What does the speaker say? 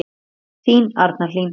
Þín Arna Hlín.